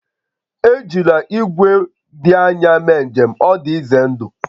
Ejila igwe kwụ ebe dị anya mee njem, ọ dị ize ndụ